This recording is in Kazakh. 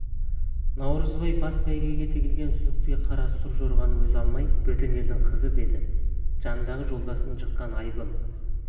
наурызбай бас бәйгіге тігілген сүліктей қара су жорғаны өзі алмай бөтен елдің қызы еді жанындағы жолдасын жыққан айыбым